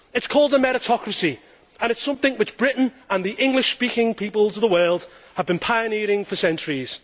It is called a meritocracy and it is something which Britain and the English speaking peoples of the world have been pioneering for centuries.